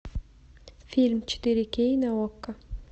фильм четыре кей на окко